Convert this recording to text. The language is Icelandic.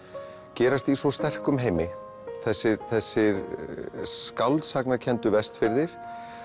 gerast í svo sterkum heimi þessir þessir Vestfirðir